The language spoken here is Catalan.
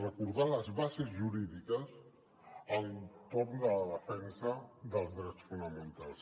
re·cordar les bases jurídiques entorn de la defensa dels drets fonamentals